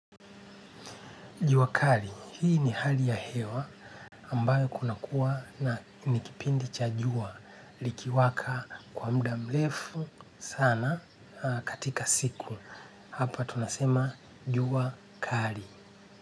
Juwa kali, hii ni hali ya hewa ambayo kuna kuwa ni kipindi cha jua likiwaka kwa muda mrefu sana katika siku. Hapa tunasema jua kali.